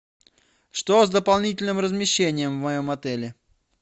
что с дополнительным размещением в моем отеле